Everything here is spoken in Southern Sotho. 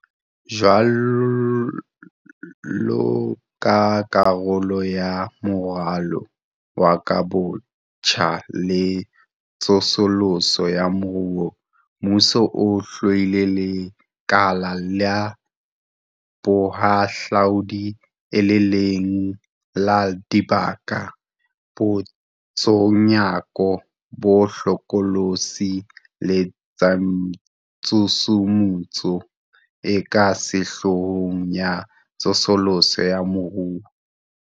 Jwaloka karolo ya Moralo wa Kahobotjha le Tsosoloso ya Moruo, mmuso o hlwaile lekala la bohahlaudi e le le leng la dibaka tsa boitshunyako bo hlokolosi le tshusumetso e ka sehloohong ya tsosoloso ya moruo.